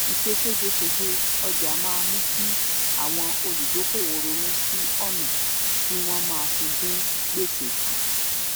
ìse ségesège ọjà máá mú kí àwọn olùdókòwò ronú sí òna tí wọn máa fi dín gbèsè kù